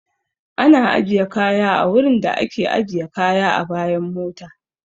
Ana ajiye kaya a wurin da a ke ajiye kaya a bayan mota